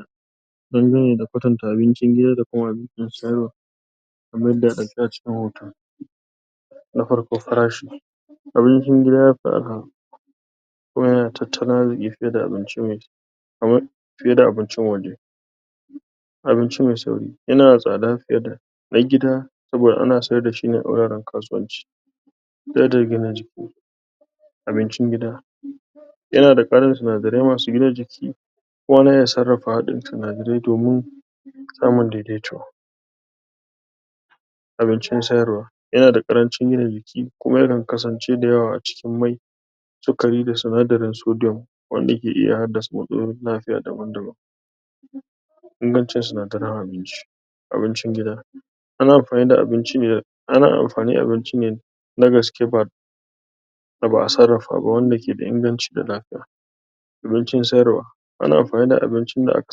? Dangane da kwatanta abincin gida kuma abincin siyarwa kamar yadda yake ɗauke a cikin hoto na farko farashi abincin gida ya fi araha kuma da tattalin arziƙi fiye da abincin? fiye da abincin waje abinci mais sauri yana da tsada fiye da na gida saboda ana sayar da shi ne a wuraren kasuwanci? abincin gida, yana da ƙarin sinadari masu gina jiki kuma ana sarrafawa domin sinadari samun daidaito abincin sayarwa yana da ƙarancin gina jiki, kuma yakan kasance dayawa a cikin mai sukari da si nadarin sodium wanda yake iya haddasa matsalolin lafiya daban-daban. Ingancin sinadaran abinci, abincin gida ana amfani da abinci ne ana amfani abinci ne na gaske ba wanda ba a sarrafa wanda ke da inganci da lafiya. Abincin sayarwa ana amfani da abincin da aka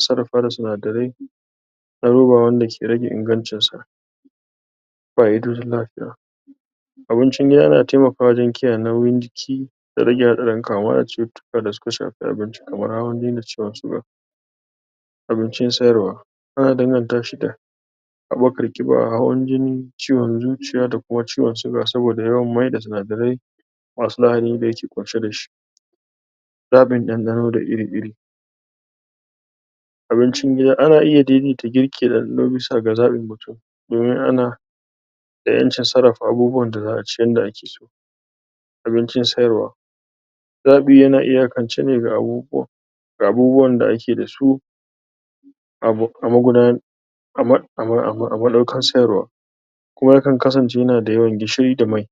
sarrafa da sinadarai da abubuwa wanda ke rage ingancinsa. Fa'idojin lafiya: Abincin gida yana taimakwa wajen kiyaye nauyin jiki da rage haɗarin kamuwa da cututtuka da suka shafi abinci kamar hawan-jini da da ciwon suga. Abincin sayarwa ana danganta shi da haɓakar ƙiba, hawan-jini, ciwon zuciya da kuma ciwon suga saboda yawan maida sinadarai masu lahani da yake ƙunshe da shi.? dandano da iri-iri abincin gida ana iya daidaita girki da ɗanɗano bisa ga zaɓin mutum domin ana da ƴancin sarrafa abubuwan da za a ci yanda ake so. Abincin sayarwa zaɓi yana iyakance ne ga abubuwa, ga abubuwan da ake da su a madaukar sayarwa, kuma yakan kasance yana da yawan gishiri da mai